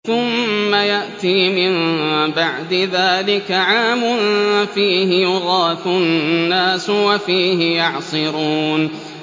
ثُمَّ يَأْتِي مِن بَعْدِ ذَٰلِكَ عَامٌ فِيهِ يُغَاثُ النَّاسُ وَفِيهِ يَعْصِرُونَ